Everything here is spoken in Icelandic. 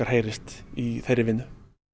heyrist í þeirri vinnu